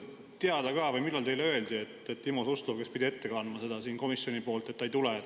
Tahan küsida, millal teile öeldi, et Timo Suslov, kes pidi siin seda ette kandma komisjoni poolt, siia ei tule.